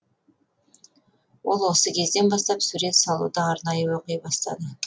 ол осы кезден бастап сурет салуды арнайы оқи бастады